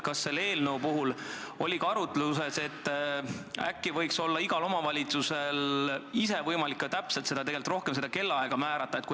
Kas selle eelnõu puhul oli ka arutlusel, et äkki võiks igal omavalitsusel olla võimalik ise tegelikult rohkem seda kellaaega määrata?